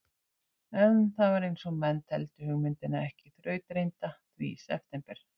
En það var einsog menn teldu hugmyndina ekki þrautreynda, því í september